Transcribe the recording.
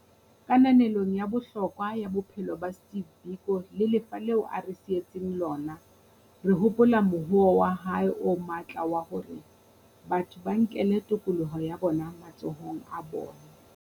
Kananelong ya bohlokwa ba bophelo ba Steve Biko le lefa leo a re sietseng lona, re hopola mohoo wa hae o matla wa hore batho ba nkele tokoloho ya bona matsohong a bona.